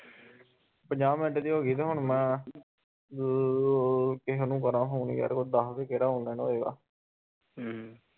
ਪੰਜਾਹ ਮਿੰਟ ਦੀ ਹੋਗੀ ਤੇ ਹੁਣ ਮੈ ਅਹ ਕਿਹੇ ਨੂੰ ਕਰਾ ਫੋਨ ਯਾਰ ਕੋਈ ਦਸ ਕੇ ਕਿਹੜਾ online ਹੋਏਗਾ